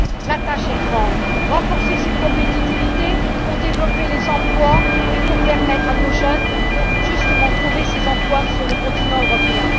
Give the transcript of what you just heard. La tâche est donc grande renforcer cette compétitivité, pour développer les emplois et permettre à nos jeunes de trouver ces emplois sur le continent européen.